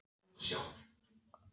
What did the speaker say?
Matur hefur alltaf þessi áhrif á mig